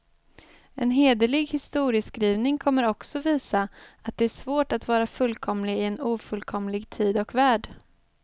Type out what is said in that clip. En hederlig historieskrivning kommer också visa, att det är svårt att vara fullkomlig i en ofullkomlig tid och värld.